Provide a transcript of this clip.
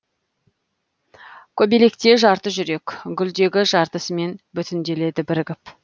көбелекте жарты жүрек гүлдегі жартысымен бүтінделді бірігіп